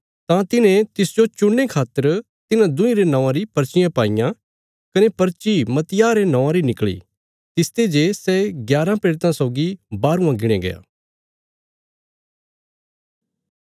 तां तिन्हें तिसजो चुणने खातर तिन्हां दुईं रे नौंवाँ री पर्चियां पाईयाँ कने पर्ची मत्तियाह रे नौवाँ री निकल़ी तिसते जे सै ग्याराँ प्रेरितां सौगी बाहरवां गिणया गया